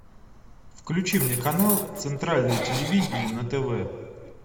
включи мне канал центральное телевидение на тв